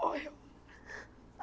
Morreu.